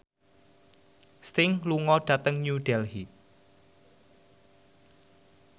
Sting lunga dhateng New Delhi